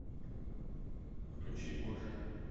включи борджиа